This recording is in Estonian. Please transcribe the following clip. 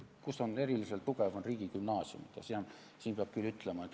Kus ta on eriliselt tugev, see koht on riigigümnaasium.